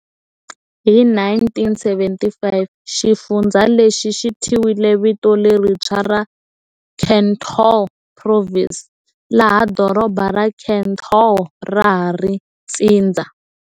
Hi 1975, xifundzha lexi xi thyiwile vito lerintshwa ra Cần Thơ province, laha doroba ra Cần Thơ ra ha ri ntsindza.